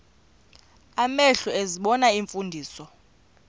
amehlo ezibona iimfundiso